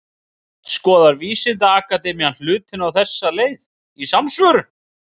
Sem sagt, skoðar vísindaakademían hlutina á þessa leið, í samsvörun.